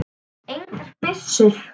Engar byssur.